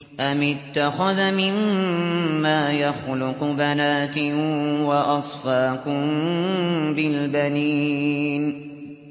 أَمِ اتَّخَذَ مِمَّا يَخْلُقُ بَنَاتٍ وَأَصْفَاكُم بِالْبَنِينَ